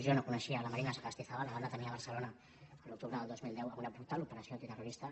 jo no coneixia la marina sagastizábal la van detenir a barcelona l’octubre del dos mil deu en una brutal operació antiterrorista